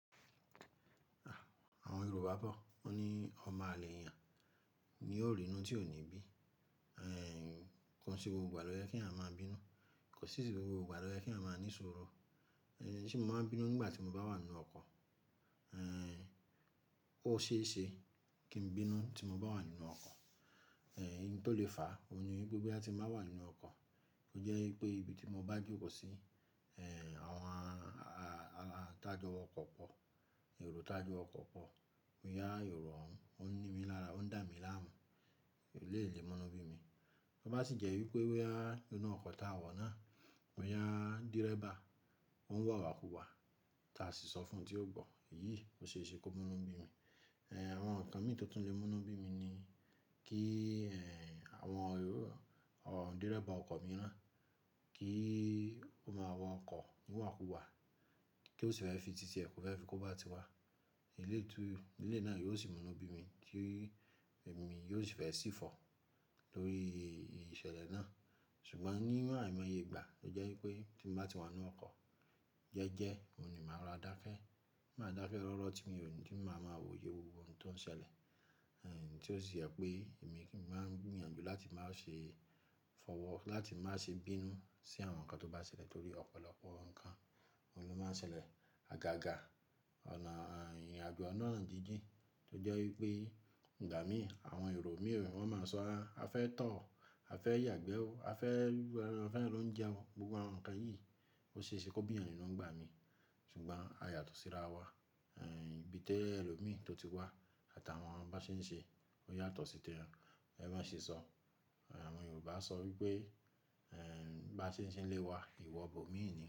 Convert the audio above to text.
Àwọn Yorùbá bọ̀ ó ní ọmọ àlè yàn ni ó rí inú tí ò ní bí. Ẹ̀ ń kan sí gbogbo ìgbà lọ yẹ kí a máa bínú, kan sì gbogbo ìgbà lọ yẹ kí a máa ní ṣòro. Ń ṣé mo máa ń bínú nígbà tí mo bá wà nínú ọkọ̀? Óṣe ṣe kí n bínú tí mo bá wà nínú ọkọ̀. Ẹ̀ ń nítò lé fàá, ó ní wípé bí a ti ń bá wà nínú ọkọ̀, ó jẹ́ wípé ibi tí mo bá jòkò sí, ẹ̀ àwọn a-a-a-a tajọ ọkọ̀ pọ̀, èrò tajọ ọkọ̀ pọ̀, mo yá èrò ọ̀ún, ọ́n ni mí lára, ọ́n dà mí láàmú, èlé lè múnú bí mi. Bá sì jẹ́ wípé wáyà inú ọkọ̀ ta wọ̀nà, mo yá dìrẹ́bà, ọ́n wà wàkúwà, ta sì sọ fún tí ó bọ̀, iyì ó ṣe é ṣe kó múnú bí mi. Ẹ̀ ń àwọn nǹkan mi tó tún lè múnú bí mi ni kí ẹ̀ àwọn èrò, òǹdìrẹ́bà ọkọ̀ mi náà kí i ó máa wọ ọkọ̀ ní wàkúwà, kí ó sì fẹ́ fi títí ẹ̀kú fẹ́ fi kó bá ti wá. Ilé ètù, ilé náà yóò sì múnú bí mi tí èmi yóò sì fẹ́ sì fọ̀ lórí iṣẹ́lẹ̀ náà. Ṣùgbọ́n ní ìgbà ìgbẹ̀ yígbà, ó jẹ́ wípé tí mo bá ti wà nínú ọkọ̀, jẹ́ẹ́jẹ́ ó ní màá ra dákẹ́, màá dákẹ́ rọ́rọ́ tí mi ò ní, tí mo máa mọ òye gbogbo ohun tó ń ṣẹlẹ̀. Ẹ̀ ń tí ó sì yẹ̀ pé èmi kí n máa gbìyànjú láti má ṣe fọ̀wọ́, láti má ṣe bínú sí àwọn nǹkan tó bá ṣẹlẹ̀ torí ọ̀pọ̀lọpọ̀ nǹkan ló máa ń ṣẹlẹ̀ àgàgà. Ọ̀nà à ìrìnàjò ọ̀nà à jíjìn, ó jẹ́ wípé ìgbà mí àwọn èrò mi èrò wọ́n máa ń sọ a fẹ́ tọ̀ ọ́, a fẹ́ yàgbẹ́ ọ́, a fẹ́ rú ẹran, a fẹ́ ń lóúnjẹ ọ, gbogbo àwọn nǹkan yìí ó ṣe é ṣe kó bíyan nínú ọgbà mi. Ṣùgbọ́n a yàtọ̀ síra wa. Ẹ̀ ń ibi tẹ́lẹ̀ èrò mi tó ti wá àtàwọn wọn bá ṣe ń ṣe, ó yàtọ̀ sí tẹ́lẹ̀, ẹ bá ṣe sọ. Àwọn Yorùbá á sọ wípé ẹ̀ bá ṣe ń ṣe lé wa ìwà bò mí ni.